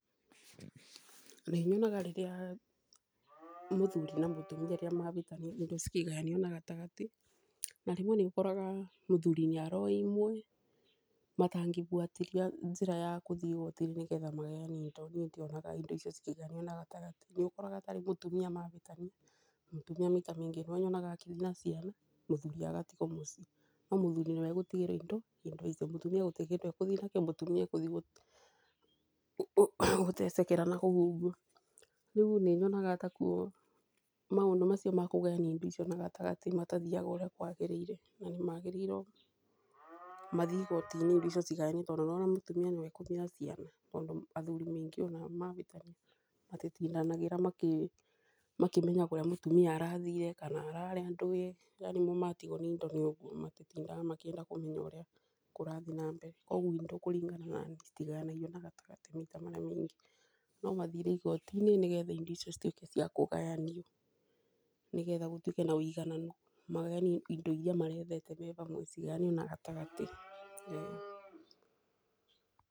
Nĩ nyonaga rĩrĩa mũthuri na mũtumia mabĩtania indo cikĩgayanio na gatagatĩ na rĩmwe nĩ ũkoraga mũthuri nĩ aroya imwe matangĩbuatĩrĩra njĩra ya kũthiĩ igoti-inĩ nĩgetha magayanio indo. Niĩ ndionaga indo icio cikĩgayanio na gatagatĩ nĩ ũkoraga ta rĩu mũtumia mabĩtania, mũtumia kĩndũ nyonaga akiuma na ciana mũthuri agatigwo mũciĩ. No mũthuri nĩwe ũgũtigĩrwo indo nĩ ũndũ ũcio mũtumia gũtirĩ kĩndũ egũthiĩ nakĩo mũtumia ekũthi kũtecekera nakũu. Rĩu nĩ nyonaga ta kũ maũndũ mau makũgayania indo icio na gatagatĩ matathiaga ũrĩa kwagĩrĩire. Na nĩ magĩrĩirwo mathiĩ igoti-inĩ indo cigayanio tonddũ nĩ wona mũtumia nĩwe ekũthiĩ na ciana tondũ athuri maingĩ ona mabĩtania matitindanagĩra makĩmenya kũrĩa mũtumia arthire kana arariĩa ndũĩ yani mo matigwo na indo nĩ ũguo matitindanagĩra makĩenda kũmenya ũrĩa kũrathiĩ na mbere. Koguo indo kũringana na niĩ citagayanagio na gatagatĩ maita marĩa maingĩ. No mathire igoti-inĩ nĩ getha indo icio cituĩke cia kũgayanio, nĩ getha gũtuĩke na wigananu, magayanie indo iria marethete me bamwe na cigayanio na gatagatĩ.